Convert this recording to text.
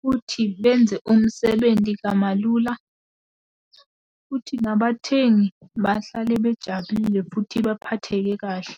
futhi benze umsebenti kamalula, futhi nabathengi bahlale bejabulile futhi baphatheke kahle.